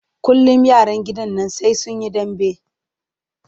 Kullum yaran gidan nan sai sun yi dambe.